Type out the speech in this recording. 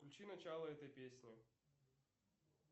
включи начало этой песни